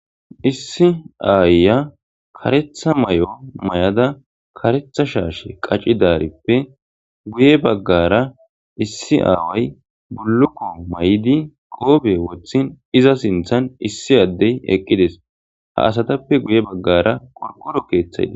issi aayya karetha mayo mayada karetha shaashe qacidaarippe guye baggara issi aaway bulluko mayidi qope wothin iza sinthan issi addey eqqides ha asatappe guye baggara qorqoro keeththay des